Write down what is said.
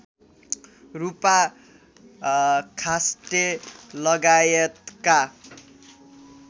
रूपा खास्टे लगायतका